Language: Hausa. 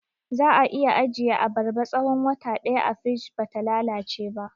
Za'a iya ajiye abarba tsahon wata ɗaya a firij bata lalace ba